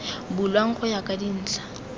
bulwang go ya ka dintlha